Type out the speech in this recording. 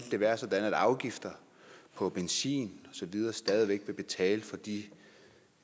det være sådan at afgifter på benzin og så videre stadig væk ville betale for de